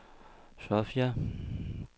Sofia